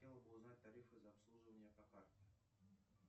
хотела бы узнать тарифы за обслуживание по карте